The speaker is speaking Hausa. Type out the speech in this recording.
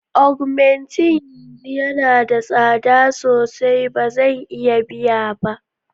Augmenting yanzu yana da tsada sosai, ba zan iya biya ba.